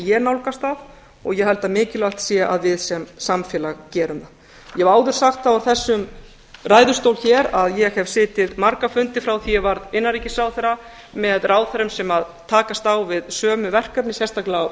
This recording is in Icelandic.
ég nálgast það og ég held að mikilvægt sé að við sem samfélag gerum það ég hef áður sagt það úr þessum ræðustóli að ég hef setið marga fundi frá því ég var innanríkisráðherra með ráðherrum sem takast á við sömu verkefni sérstaklega á